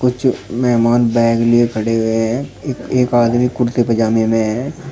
कुछ मेहमान बैग लिए खड़े हुए हैं ये एक आदमी कुर्ते पजामे में है।